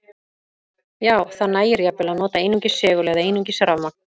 Já, það nægir jafnvel að nota einungis segul eða einungis rafmagn.